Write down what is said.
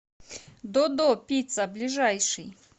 додо пицца ближайший